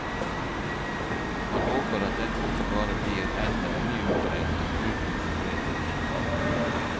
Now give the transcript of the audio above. Han håper at dette ikke bare blir enda en ny utredning uten konkrete resultater.